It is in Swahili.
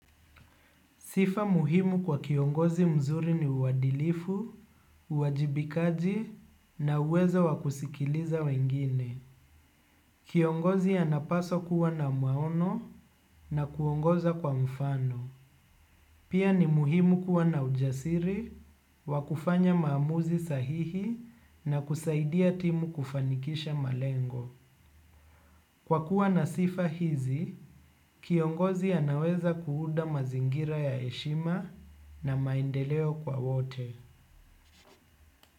Sifa muhimu kwa kiongozi mzuri ni uwadilifu, uwajibikaji na uwezo wa kusikiliza wengine. Kiongozi anapaswa kuwa na maono na kuongoza kwa mfano. Pia ni muhimu kuwa na ujasiri, wa kufanya maamuzi sahihi na kusaidia timu kufanikisha malengo. Kwa kuwa na sifa hizi, kiongozi anaweza kuunda mazingira ya heshima na maendeleo kwa wote.